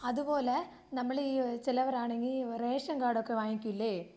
അതുപോലെ നമ്മളെ ഈ ചിലവരാണെങ്കി റേഷൻ കാർഡ് ഒക്കെ വാങ്ങിക്കൂല്ലേ?